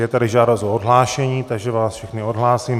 Je tady žádost o odhlášení, takže vás všechny odhlásím.